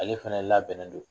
Ale fɛnɛ labɛnnen don.